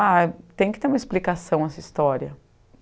Ah, tem que ter uma explicação essa história.